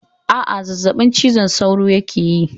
Aa, zazzabin cizon sauro yake yi